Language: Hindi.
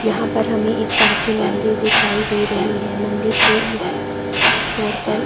यहाँ पर हमे एक प्राचीन मंदिर दिखाई दे रही है | मंदिर के इस छोर पर --